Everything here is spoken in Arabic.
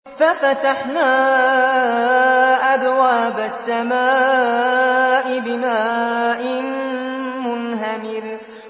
فَفَتَحْنَا أَبْوَابَ السَّمَاءِ بِمَاءٍ مُّنْهَمِرٍ